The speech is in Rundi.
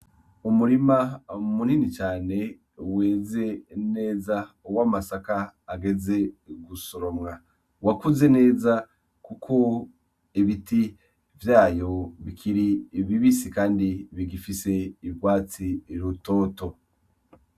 Umurima mu munini cane weze neza uwo amasaka ageze gusoromwa wakuze neza, kuko ebiti vyayo bikiri ibibisi, kandi bigifise irwatsi rutoto.